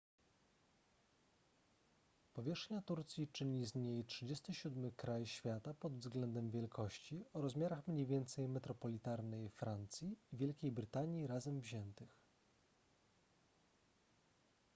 powierzchnia turcji czyni z niej 37 kraj świata pod względem wielkości o rozmiarach mniej więcej metropolitarnej francji i wielkiej brytanii razem wziętych